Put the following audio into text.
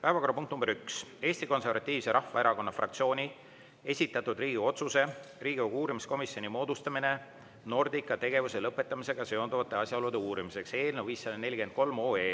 Päevakorrapunkt nr 1: Eesti Konservatiivse Rahvaerakonna fraktsiooni esitatud Riigikogu otsuse "Riigikogu uurimiskomisjoni moodustamine Nordica tegevuse lõpetamisega seonduvate asjaolude uurimiseks" eelnõu 543